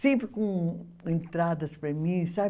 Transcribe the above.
sempre com entradas para mim, sabe?